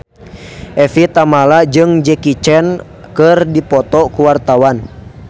Evie Tamala jeung Jackie Chan keur dipoto ku wartawan